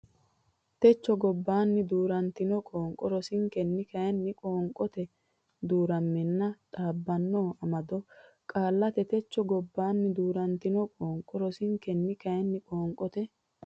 techo gobbanno duu rantino qoonqo rosinkenni kayinni qoonqote duu ramanna dhaabbanno amaddino qaallaati techo gobbanno duu rantino qoonqo rosinkenni kayinni qoonqote.